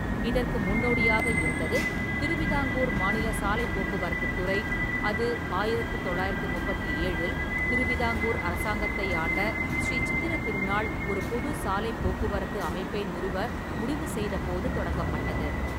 இதற்கு முன்னோடியாக இருந்தது திருவிதாங்கூர் மாநில சாலைப் போக்குவரத்துத் துறை, அது ஆயிரத்து தொள்ளாயிரத்து முப்பத்தி ஏழில் திருவிதாங்கூர் அரசாங்கத்தை ஆண்ட ஸ்ரீ சித்திர திருநாள் ஒரு பொது சாலைப் போக்குவரத்து அமைப்பை நிறுவ முடிவுசெய்த போது தொடங்கப்பட்டது.